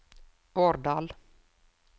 Årdal